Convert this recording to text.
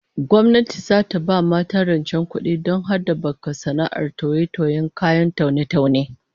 Gwamnati zata ba mata rancevdon habaka sana'ar toye-tiyen kayan taune-taune